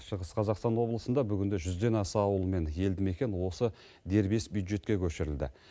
шығыс қазақстан облысында бүгінде жүзден аса ауыл мен елді мекен осы дербес бюджетке көшірілді